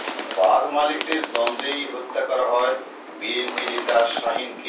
বাস মালিকদের দ্বন্দ্বেই হত্যা করা হয় বিএনপি নেতা শাহীনকে